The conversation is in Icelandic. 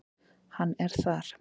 Hann er þar.